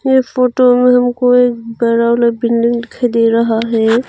ये फोटो में हमको एक बड़ा वाला बिल्डिंग दिखाई दे रहा है।